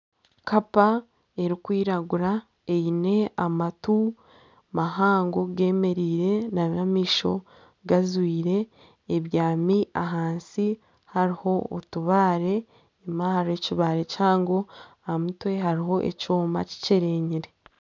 Kapa erikwiragura eyine amatu mahango gemereire n'amaisho gazwire. Ebyami ahansi hariho otubaare enyima hariyo ekibaare kihango ahamutwe hariho ekyooma kikyerenyire.